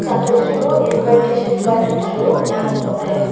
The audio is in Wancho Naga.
lagleychu am chu ngan ang kapley.